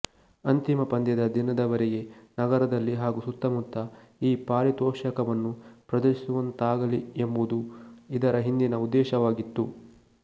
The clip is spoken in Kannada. ಅಂತಿಮ ಪಂದ್ಯದ ದಿನದವರೆಗೆ ನಗರದಲ್ಲಿ ಹಾಗೂ ಸುತ್ತಮುತ್ತ ಈ ಪಾರಿತೋಷಕವನ್ನು ಪ್ರದರ್ಶಿಸುವಂತಾಗಲಿ ಎಂಬುದು ಇದರ ಹಿಂದಿನ ಉದ್ದೇಶವಾಗಿತ್ತು